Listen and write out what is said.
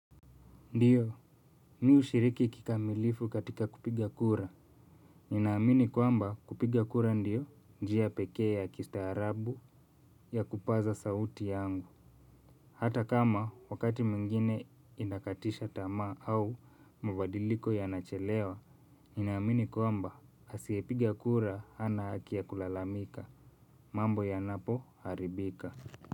Ndiyo mi hushiriki kikamilifu katika kupiga kura. Ninaamini kwamba kupiga kura ndio njia pekee ya kistaarabu ya kupaza sauti yangu. Hata kama wakati mwingine inakatisha tamaa au mabadiliko yanachelewa. Ninaamini kwamba asiyepiga kura hana haki ya kulalamika. Mambo yanapo haribika.